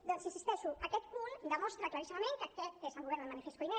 doncs hi insisteixo aquest punt demostra claríssimament que aquest és el govern del manifest koiné